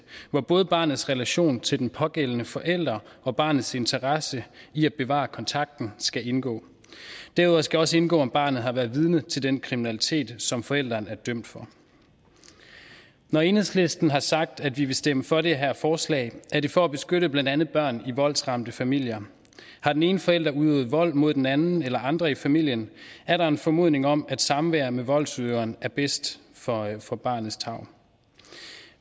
hvor både barnets relation til den pågældende forælder og barnets interesse i at bevare kontakten skal indgå derudover skal også indgå om barnet har været vidne til den kriminalitet som forælderen er dømt for når enhedslisten har sagt at vi vil stemme for det her forslag er det for at beskytte blandt andet børn i voldsramte familier har den ene forælder udøvet vold mod den anden eller andre i familien er der en formodning om at samvær med voldsudøveren er bedst for for barnets tarv